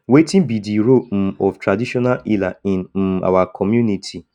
wetin be di role um of traditional healer in um our community